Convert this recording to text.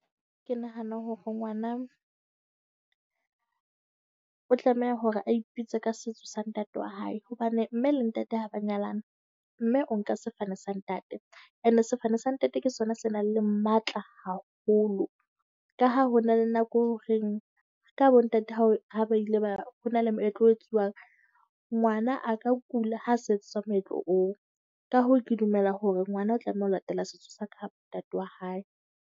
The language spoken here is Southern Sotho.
Ke nahana hore ngwana o tlameha hore a ipitse ka setso sa ntate wa hae, hobane mme le ntate ha ba nyalana, mme o nka sefane sa ntate. Ene sefane sa ntate ke sona se nang le matla haholo, ka ha ho na le nako horeng ka bontate ha ha ba ile ba ho na le moetlo o etsuwang. Ngwana a ka kula ha sa etsetswa meetlo oo, ka hoo ke dumela hore ngwana o tlameha ho latela setso sa kapa ntate wa hae.